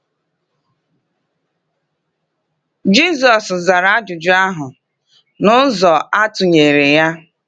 Jisọs zara ajụjụ ahụ n’ụzọ atụnyere ya.